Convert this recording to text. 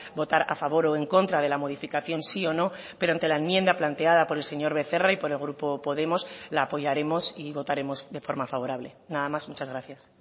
votar a favor o en contra de la modificación sí o no pero ante la enmienda planteada por el señor becerra y por el grupo podemos la apoyaremos y votaremos de forma favorable nada más muchas gracias